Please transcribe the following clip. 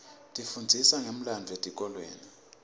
tifundzisa ngemlandvo esikolweni